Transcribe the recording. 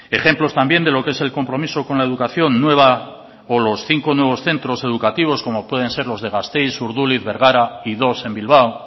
ejemplos también de lo que es el compromiso con la educación los cinco nuevos centros educativos como pueden ser los de gasteiz urduliz bergara y dos en bilbao